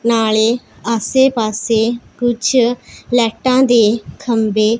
ਨਾਲੇ ਆਸੇ ਪਾਸੇ ਕੁਛ ਲਾਈਟਾਂ ਦੇ ਖੰਬੇ--